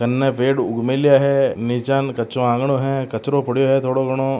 कने पेड़ उग मेल्या है निचान कच्चों आंगनो है कचरों पढ़यो है थोडो घणो।